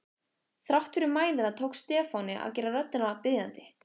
Þrátt fyrir mæðina tókst Stefáni að gera röddina biðjandi.